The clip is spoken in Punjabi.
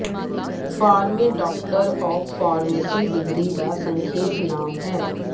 PharmD doctor of pharmacy degree ਦਾ ਸੰਖੇਪ ਨਾਮ ਹੈ